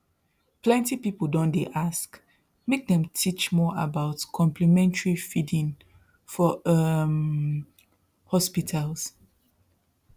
plenty people don dey ask make dem teach more about complementary feeding for um hospitals